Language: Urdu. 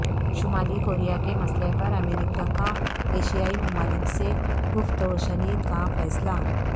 شمالی کوریا کے مسئلہ پرامریکہ کا ایشیائی ممالک سے گفت و شنید کا فیصلہ